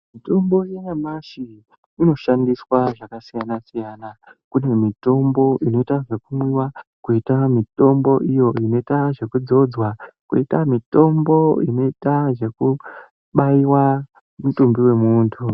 Mitombo yanyamashi inoshandiswa zvakasiyana-siyana. Kune mitombo inoita zvekumwiwa. Koita mitombo iyo inoita zvekudzodzwa, koita mitombo inoita zvekubaiwa mutumbi wemuntu